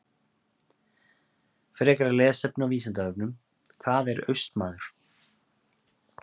Frekara lesefni á Vísindavefnum: Hvað er Austmaður?